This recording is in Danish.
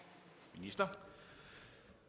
vide